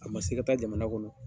A ma se i ka taa jamana kɔnɔ.